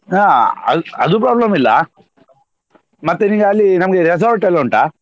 ಹಾ ಅದು ಅದು problem ಇಲ್ಲ ಮತ್ತೆ ಇಲ್ಲಿ ಅಲ್ಲಿ ನಮ್ಗೆ resort ಎಲ್ಲ ಉಂಟಾ?